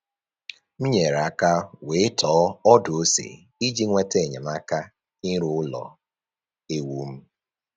M nyere aka wee tọọ ọdụ ose iji nweta enyemaka ịrụ ụlọ ewu m